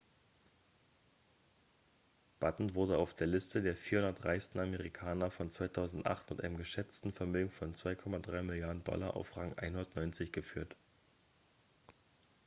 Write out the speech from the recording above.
batten wurde auf der liste der 400 reichsten amerikaner von 2008 mit einem geschätzten vermögen von 2,3 milliarden dollar auf rang 190 geführt